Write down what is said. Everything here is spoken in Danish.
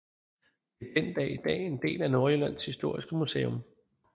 Det er i dag en del af Nordjyllands Historiske Museum